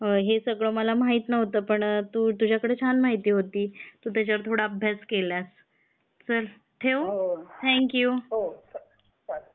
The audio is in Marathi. हे सगळं मला माहित नव्हतं पण तू तुझ्याकडं छान माहिती होती. तू त्याच्यावर थोडं अभ्यास केलास. चल ठेऊ? Thank U.